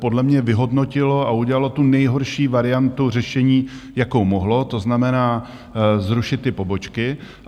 Podle mě vyhodnotilo a udělalo tu nejhorší variantu řešení jakou mohlo, to znamená zrušit ty pobočky.